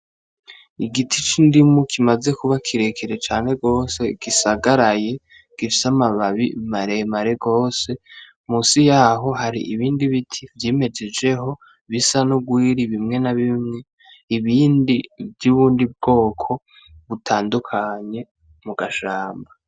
Igiti c'indimu kimaze kuba kirekire cane gose gisagaraye, gifise amababi maremare gose munsi yaho hari ibindi biti vyimejejeho bisa nurwiri bimwe na bimwe , ibindi vyubwoko butandukanye mugashamba.